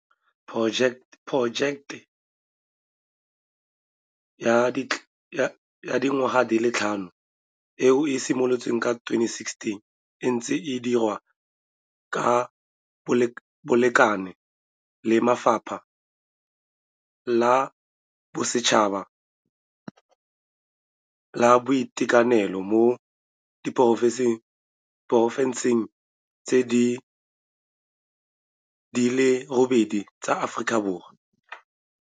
Porojeke ya dingwaga di le tlhano eno, eo e simolotseng ka 2016, e ntse e dirwa ka bolekane le Lefapha la Bosetšhaba la Boitekanelo mo diporofenseng di le robedi tsa Aforika Borwa.